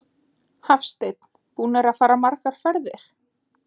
Hafsteinn: Búnir að fara margar ferðir?